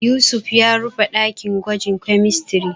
Yusuf ya rufe ɗakin gwajin kemistiri.